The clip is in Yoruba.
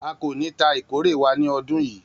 A ko ni ta ikore wa ni ọdun yii